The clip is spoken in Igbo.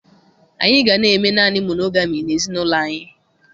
Anyị ga na-eme naanị monogami n'ezinụlọ anyị